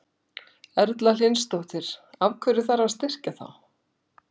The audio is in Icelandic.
Erla Hlynsdóttir: Af hverju þarf að styrkja þá?